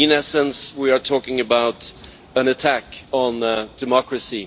In essence, we are talking about an attack on democracy.